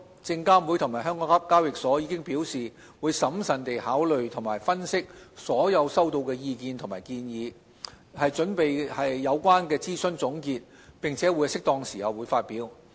證監會及港交所已表示會審慎地考慮及分析所有收到的意見和建議，以擬備有關的諮詢總結，並在適當時候發表。